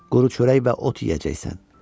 Quru çörək və ot yeyəcəksən.